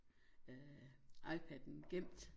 Øh iPad'en gemt